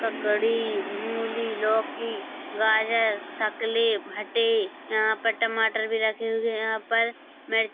ककड़ी मूली लौकी गाजर शकले भटे यहां पर टमाटर भी रखे हुए है यहां पर मि--